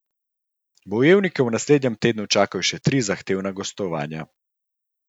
Bojevnike v naslednjem tednu čakajo še tri zahtevna gostovanja.